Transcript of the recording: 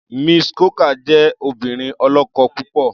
Mrs. Cooker jẹ́ obìnrin ọlọ́kọ̀ púpọ̀.